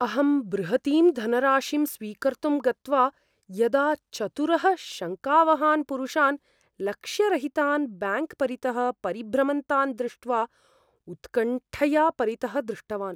अहं बृहतीं धनराशिं स्वीकर्तुं गत्वा यदा चतुरः शङ्कावहान् पुरुषान् लक्ष्यरहितान् ब्याङ्क् परितः परिभ्रमन्तान् दृष्ट्वा उत्कण्ठया परितः दृष्टवान्।